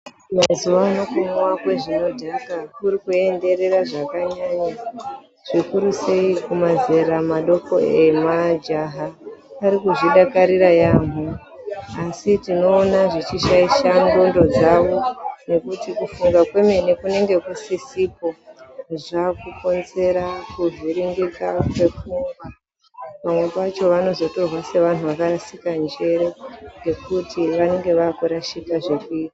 Mazuvaano kumwa zvinodhaka kurikuenderera zvakanyanya zvikuru sei kumazera madoko majaha arikuzvidakarira yampho asi tinoona zvechishaisha ndxondo dzavo nekuti kufunga kwemene kunenge kusisipo, zvaakukonzera kuvhiringika kwepfungwa pamwe pacho vanozotorwa sevanhu vakarashika njere ngekuti vanenge vaakurashika zvekuita.